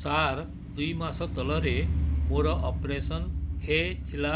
ସାର ଦୁଇ ମାସ ତଳରେ ମୋର ଅପେରସନ ହୈ ଥିଲା